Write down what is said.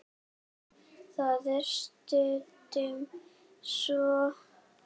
Það er stundum svo.